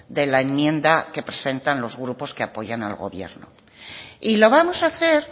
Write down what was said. de la enmienda que presentan los grupos que apoyan al gobierno y lo vamos a hacer